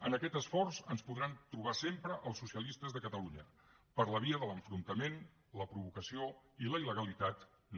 en aquest esforç ens podran trobar sempre als socialistes de catalunya per la via de l’enfrontament la provocació i la il·legalitat no